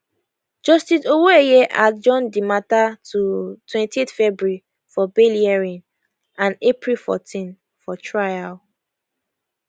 justice owoeye adjourn di mata to 28 february for bail hearing and april 14 for trial